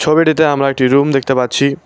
ছবিটিতে আমরা একটি রুম দেখতে পাচ্ছি।